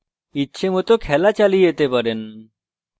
ইচ্ছেমত খেলা চালিয়ে যেতে পারেন